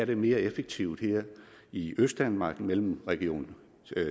det mere effektivt her i østdanmark mellem region